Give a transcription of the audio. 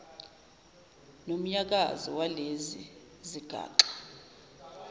nomnyakazo walezi zigaxa